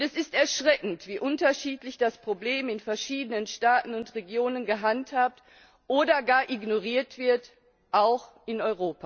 Es ist erschreckend, wie unterschiedlich das Problem in verschiedenen Staaten und Regionen gehandhabt oder gar ignoriert wird, auch in